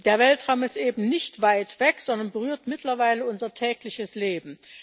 Der Weltraum ist eben nicht weit weg, sondern berührt mittlerweile unser tägliches Leben.